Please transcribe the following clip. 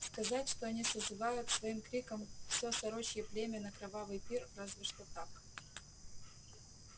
сказать что они созывают своим криком всё сорочье племя на кровавый пир разве что так